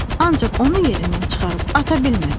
Ancaq onu yerindən çıxarıb ata bilmədi.